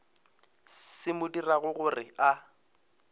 se mo dirago gore a